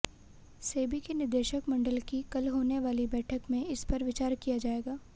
सेबी के निदेशक मंडल की कल होने वाली बैठक में इस पर विचार किया जाएगा